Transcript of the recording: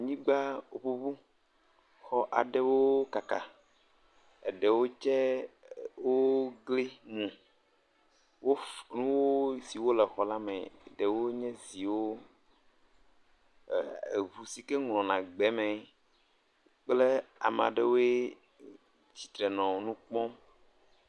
Nyigba ŋuŋu, exɔ aɖewo kaka, eɖewo tse wokli nu. Wo nusiwo le xɔ la me, ɖewo nye ziwo, eŋu sike nɔ na gbe me kple ame aɖewoe tsitre nɔ nu kpɔm.